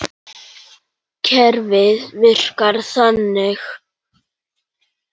Kerfið virkar þannig.